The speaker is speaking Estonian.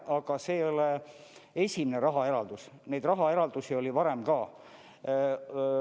Aga see ei ole esimene rahaeraldus, neid rahaeraldusi oli varem ka.